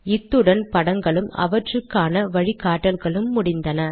இத்துடன் படங்களும் அவற்றுக்கான வழி காட்டிகளும் முடிந்தன